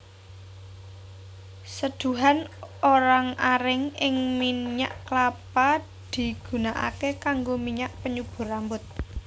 Seduhan orang aring ing minyak kelapa digunakaké kanggo minyak penyubur rambut